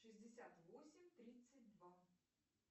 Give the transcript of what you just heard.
шестьдесят восемь тридцать два